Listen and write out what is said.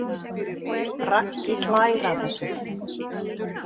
Raggi hlær að þessu.